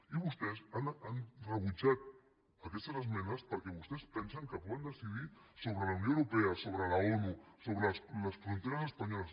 i vostès han rebutjat aquestes esmenes perquè vostès pensen que poden decidir sobre la unió europea sobre la onu sobre les fronteres espanyoles